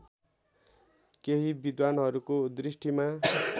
केही विद्धानहरूको दृष्टिमा